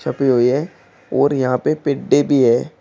हुई है और यहां पे पिद्दे भी है।